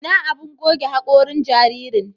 Ina abun goge haƙorin jaririn?